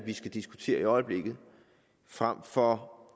diskutere i øjeblikket frem for